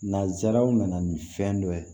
Nazararaw nana ni fɛn dɔ ye